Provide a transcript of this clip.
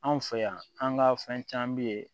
Anw fɛ yan an ka fɛn caman bɛ yen